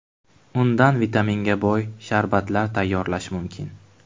Undan vitaminga boy sharbatlar tayyorlash mumkin.